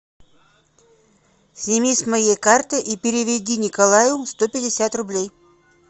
сними с моей карты и переведи николаю сто пятьдесят рублей